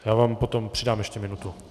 Já vám potom přidám ještě minutu.